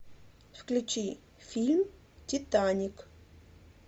включи фильм титаник